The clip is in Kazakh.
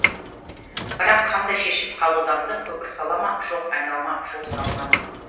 бірақ қандай шешім қабылданды көпір сала ма жоқ айналма жол салына ма